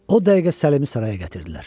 O dəqiqə Səlimi saraya gətirdilər.